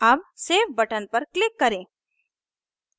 अब save button पर click करें